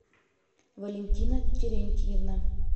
валентина терентьевна